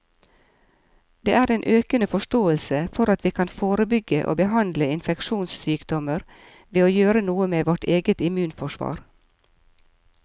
Det er en økende forståelse for at vi kan forebygge og behandle infeksjonssykdommer ved å gjøre noe med vårt eget immunforsvar.